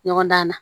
Ɲɔgɔn dan na